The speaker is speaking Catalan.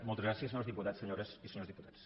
moltes gràcies senyors diputats senyores i senyors diputats